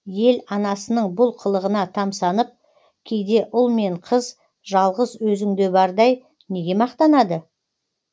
ел анасының бұл қылығына тамсанып кейде ұл мен қыз жалғыз өзіңде бардай неге мақтанады